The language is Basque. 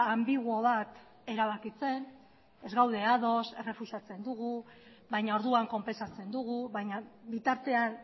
anbiguo bat erabakitzen ez gaude ados errefusatzen dugu baina orduan konpentsatzen dugu baina bitartean